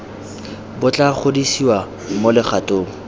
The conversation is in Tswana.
bo tla godisiwa mo legatong